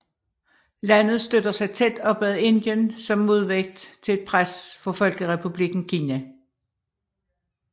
Landet støtter sig tæt op ad Indien som modvægt til et pres fra Folkerepublikken Kina